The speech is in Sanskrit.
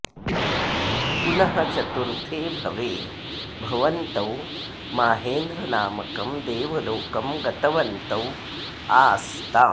पुनः चतुर्थे भवे भवन्तौ माहेन्द्रनामकं देवलोकं गतवन्तौ आस्ताम्